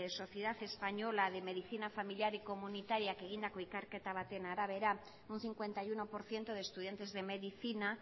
sociedad española de medicina familiar y comunitariak egindako ikerketa baten arabera un cincuenta y uno por ciento de estudiantes de medicina